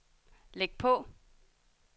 læg på